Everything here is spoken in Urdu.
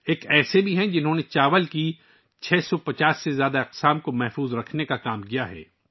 ایک ایسا بھی ہے، جس نے چاول کی 650 سے زیادہ اقسام کے تحفظ کے لیے کام کیا ہے